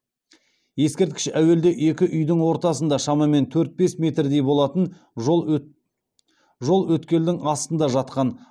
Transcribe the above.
ескерткіш әуелде екі үйдің ортасында шамамен төрт бес метрдей болатын жол өткелдің астында жатқан